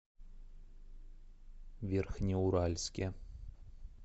верхнеуральске